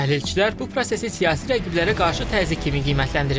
Təhlilçilər bu prosesi siyasi rəqiblərə qarşı təzyiq kimi qiymətləndirir.